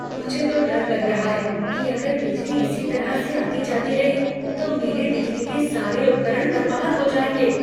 मुझे तो डर लग रहा है कि अगर बिजली इसी तरह से आती जाती रही, तो मेरे बिजली के सारे उपकरण बर्बाद हो जाएंगे।